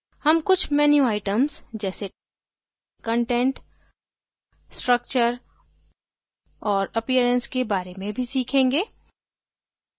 हम कुछ menu items जैसे content structure और appearance के बारे में भी सीखेंगे